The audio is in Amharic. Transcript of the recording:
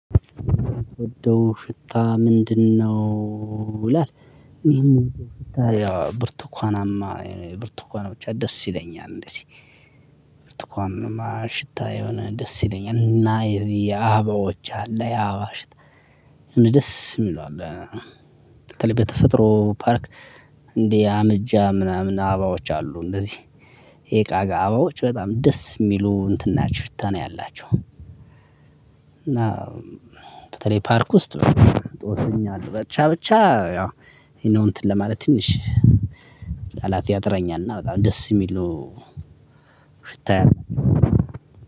የምትወደው ሽታ ምንድነው? ሽታ የሆነ ደስ ይለኛል እና የዚህ አበባዎች አለ ያዋሽት ደስ ይለዋል በተላይ ተፈጥሮ ፓርክ እንዲህ አምጃ ምናምን አባዎች አሉ እንደዚህ የቃጋ አባዎች በጣም ደስ የሚሉ እንትን ናቸው ሽታ ነው ያላቸው። እና በተለይ ፓርክ ውስጥ ነው ጦርኛል ብቻ ብቻ ያው ይሄ ነው እንትን ለማለት ትንሽ ቃላት ያጥራኛል እና በጣም ደስ የሚለው ሽታዬ።